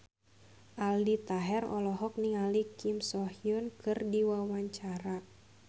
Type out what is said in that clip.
Aldi Taher olohok ningali Kim So Hyun keur diwawancara